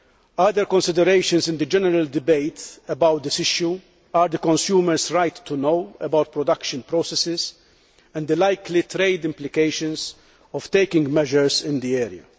Other considerations in the general debate on this issue are consumers' rights to know about production processes, and the likely trade implications of taking measures in this area.